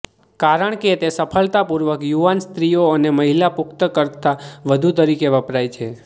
કારણ કે તે સફળતાપૂર્વક યુવાન સ્ત્રીઓ અને મહિલા પુખ્ત કરતાં વધુ તરીકે વપરાય છે